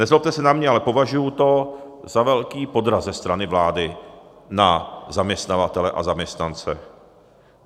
Nezlobte se na mě, ale považuji to za velký podraz ze strany vlády na zaměstnavatele a zaměstnance.